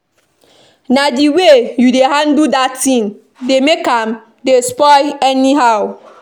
Na the way you dey handle dat thing make am dey spoil anyhow